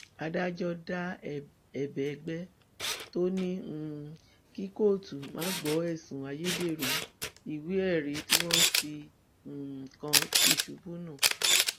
adájọ da ẹbẹ ẹgbẹ tó ní um kí kóòtù má gbọ ẹsùn ayédèrú ìwéẹrí tí wọn fi um kan tìṣubù nù